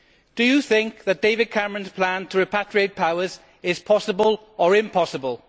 Do you think that David Cameron's plan to repatriate powers is possible or impossible?